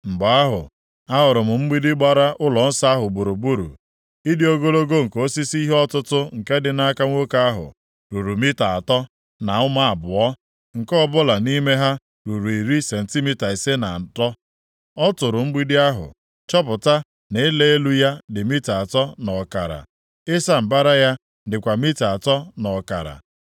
Mgbe ahụ, ahụrụ m mgbidi gbara ụlọnsọ ahụ gburugburu. Ịdị ogologo nke osisi ihe ọtụtụ nke dị nʼaka nwoke ahụ, ruru mita atọ na ụma abụọ, nke ọbụla nʼime ha ruru iri sentimita ise na atọ. + 40:5 Maọbụ, iri sentimita anọ na ise nakwa otu ntu-aka Ọ tụrụ mgbidi ahụ, chọpụta na ịla elu ya dị mita atọ na ọkara. Ịsa mbara ya dịkwa mita atọ na ọkara.